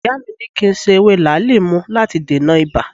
Ìyá mi ni kí n se ewé làálì mu láti dènà ibà